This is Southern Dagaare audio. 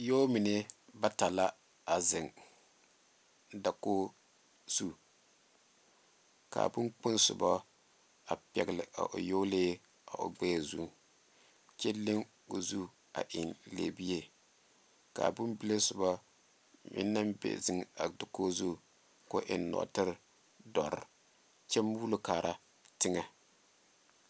Yɔɔmine bata la a zeŋ dakogi zu k,a bonkpoŋ soba a pɛgle a o yɔɔlee o gbɛɛ zu kyɛ leŋ o zu a eŋ lɛbie k,a bonbile soba meŋ naŋ be zeŋ a dakogi zu k,o eŋ nɔɔtere dɔre kyɛ muulo kaara teŋɛ.